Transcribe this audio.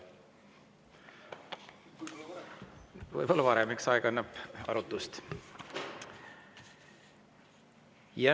Võib-olla varem, eks aeg annab arutust.